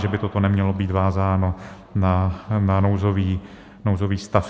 Že by toto nemělo být vázáno na nouzový stav.